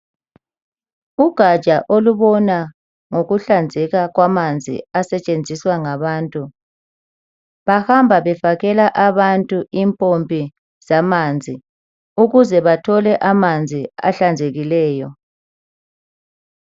Ugatsha olubona ngokuhlanzeka kwamanzi asetshenziswa ngabantu bahamba befakela abantu impompi zamanzi ukuze bathole amanzi ahlanzekileyo.